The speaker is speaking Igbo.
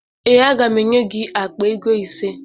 Ee, aga m enye gị akpa ego ise